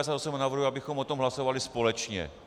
Navrhuji, abychom o tom hlasovali společně.